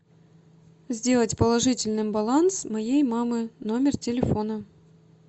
сделать положительным баланс моей мамы номер телефона